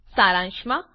સારાંશમાં